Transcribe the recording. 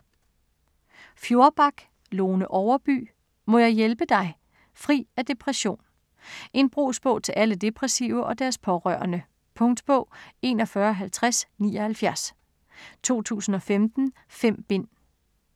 Fjorback, Lone Overby: Må jeg hjælpe dig?: fri af depression En brugsbog til alle depressive og deres pårørende. Punktbog 415079 2015. 5 bind.